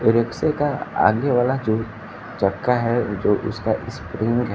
रिक्शे का आगे वाला जो चक्का है जो उसका स्प्रिंग है।